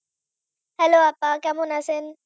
hello আপা কেমন আছেন?